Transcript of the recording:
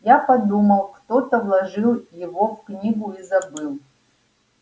я подумал кто-то вложил его в книгу и забыл